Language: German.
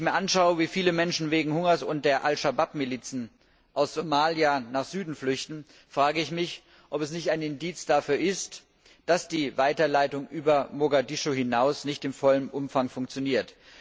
Wenn ich mir anschaue, wie viele Menschen wegen Hungers und der Al Shabab Milizen aus Somalia nach Süden flüchten, frage ich mich, ob das nicht ein Indiz dafür ist, dass die Weiterleitung über Mogadischu hinaus nicht in vollem Umfang funktioniert.